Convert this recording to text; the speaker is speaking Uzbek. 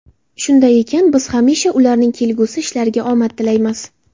Shunday ekan, biz hamisha ularning kelgusi ishlariga omad tilaymiz.